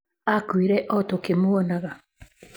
Aakuire o tũkĩmuonaga".